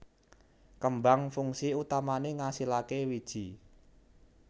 Kembang fungsi utamané ngasilaké wiji